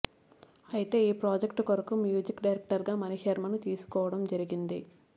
ఐతే ఈ ప్రాజెక్ట్ కొరకు మ్యూజిక్ డైరెక్టర్ గా మణిశర్మను తీసుకోవడం జరిగింది